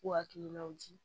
K'u hakilinaw di